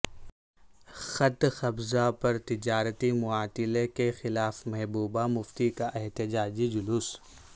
خط قبضہ پر تجارتی معطلی کیخلاف محبوبہ مفتی کا احتجاجی جلوس